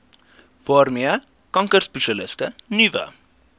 waarmee kankerspesialiste nuwe